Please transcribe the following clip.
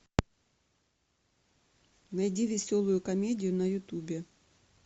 найди веселую комедию на ютубе